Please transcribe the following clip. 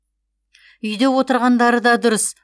үйде отырғандары да дұрыс